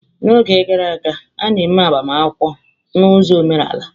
N'oge gara aga, a na-eme agbamakwụkwọ na ụzọ omenala.